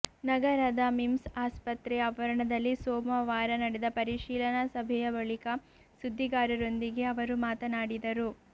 ನಗರದ ಮಿಮ್ಸ್ ಆಸ್ಪತ್ರೆ ಆವರಣದಲ್ಲಿ ಸೋಮವಾರ ನಡೆದ ಪರಿಶೀಲನಾ ಸಭೆಯ ಬಳಿಕ ಸುದ್ದಿಗಾರರೊಂದಿಗೆ ಅವರು ಮಾತನಾಡಿದರು